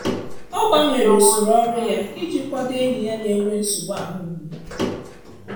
Ọ gbanwere usoro ọrụ ya i ji kwado enyi ya n'enwe nsogbu ahụmgbu.